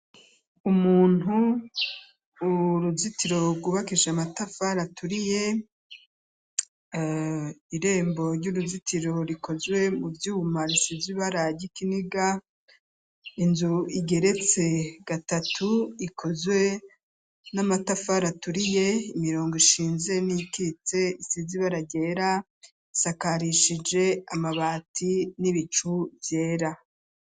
Umuntu uruzitiro kubakije amatafa raturiye ,irembo ry'uruzitiro rikozwe mu vyuma risize ibara ry’ ikiniga, inzu igeretse gatatu ikozwe n'amatafari aturiye ,imirongo ishinze n'ikitse isize ibara ry’era isakarishije amabati n'ibicu byera .